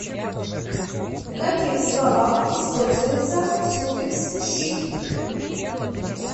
в каких словах используется суффикс щик